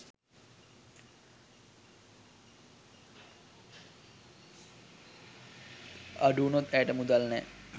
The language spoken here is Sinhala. අඩුවුණොත් ඇයට මුදල් නෑ.